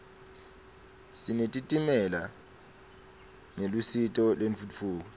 sinetitimela ngelusito lentfutfuko